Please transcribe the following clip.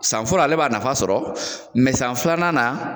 San fɔlɔ ale b'a nafa sɔrɔ san filanan na